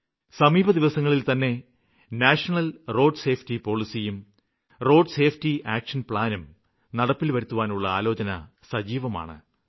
സമീപദിവസങ്ങളില്തന്നെ ദേശീയ റോഡ് ഗതാഗത നയവും റോഡ് സുരക്ഷാ കര്മ്മ പദ്ധതിയും നടപ്പില് വരുത്തുവാനുള്ള ചുവടുവയ്പ്പുകള് ആരംഭിക്കുന്ന വിചാരം സജീവമാണ്